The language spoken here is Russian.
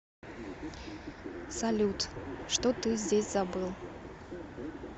салют что ты здесь забыл